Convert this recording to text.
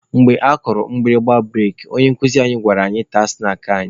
Mgbe akụrụ mgbịrịgba bụreki, onye nkuzi anyị gwara anyị taa snaakị anyị.